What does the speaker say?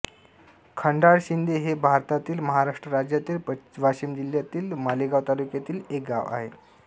खंडाळाशिंदे हे भारतातील महाराष्ट्र राज्यातील वाशिम जिल्ह्यातील मालेगाव तालुक्यातील एक गाव आहे